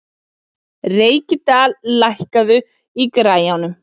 Reykdal, lækkaðu í græjunum.